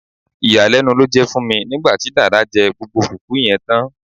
Ìyàlénu ló jé fun mi nígbàtí Dàda jé gbogbo fùfú yen tán